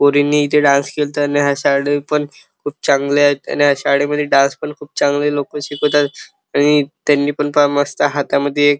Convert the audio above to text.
पोरींनी इथे डान्स केलात आणि हा शाळा पण खूप चांगल्यात आणि ह्या शाळेमध्ये डान्स पण खूप चांगले लोक शिकीवतातआणि त्यांनी पण फार मस्त हातामध्ये --